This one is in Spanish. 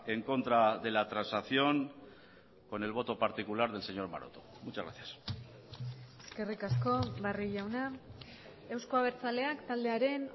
en contra de la transacción con el voto particular del señor maroto muchas gracias eskerrik asko barrio jauna eusko abertzaleak taldearen